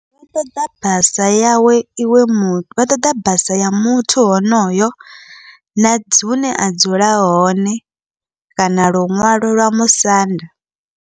Vha ṱoḓa basa yawe iwe mu vha ṱoḓa basa ya muthu honoyo, na hune a dzula hone kana luṅwalo lwa musanda.